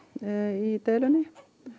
í deilunni